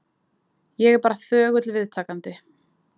Ég er bara þögull viðtakandi.